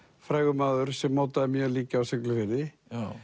frægur maður sem mótaði mjög líka á Siglufirði